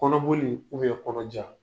Kɔnɔboli kɔnɔja.